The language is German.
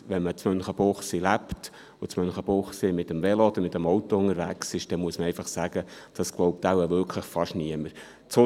Wenn man in Münchenbuchsee lebt und in Münchenbuchsee mit dem Velo oder mit dem Auto unterwegs ist, muss man sagen, dass das wirklich fast niemand glaubt.